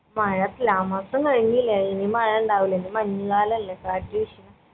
മഴ ത്ലാ മാസം കഴിഞ്ഞിലെ ഇനി മഴ ഇണ്ടാവൂല ഇനി മഞ്ഞ് കാലല്ലേ കാറ്റ് വീഷ്ണ